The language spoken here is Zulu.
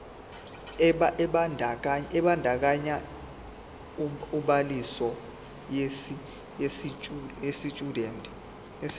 ebandakanya ubhaliso yesitshudeni